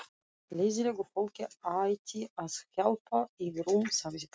Leiðinlegu fólki ætti að hjálpa yfir um, sagði pabbi.